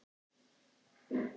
Borgin var mestöll í rústum.